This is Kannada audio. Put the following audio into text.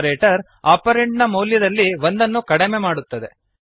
ಆಪರೇಟರ್ ಆಪರಂಡ್ ನ ಮೌಲ್ಯದಲ್ಲಿ ಒಂದನ್ನು ಕಡಿಮೆ ಮಾಡುತ್ತದೆ